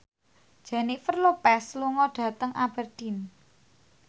Jennifer Lopez lunga dhateng Aberdeen